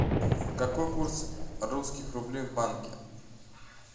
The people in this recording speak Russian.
какой курс русских рублей в банке